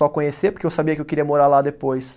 Só conhecer, porque eu sabia que eu queria morar lá depois.